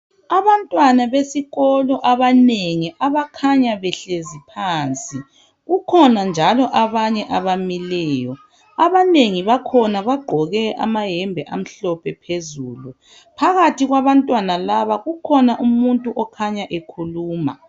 Abantwana besikolo abanengi abakhanya behlezi phansi, kukhona njalo abanye abamileyo. Abanengi bakhona bagqoke amayembe amhlophe. Kukhona njalo abanye abamileyo. Phakathi kwabantwana laba ukhona umuntu okhanya ekhuluma.